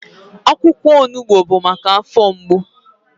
Akwụkwọ onugbu bụ maka afọ mgbu.